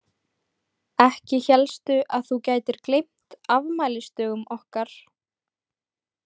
Ekki hélstu að þú gætir gleymt afmælisdögum okkar?